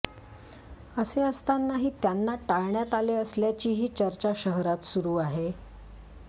असे असतानाही त्यांना टाळण्यात आले असल्याचीही चर्चा शहरात सुरु आहे